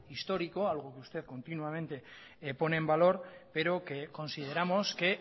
histórico algo que usted continuamente pone en valor pero que consideramos que